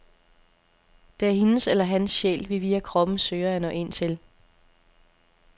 Det er hendes eller hans sjæl, vi via kroppen søger at nå ind til.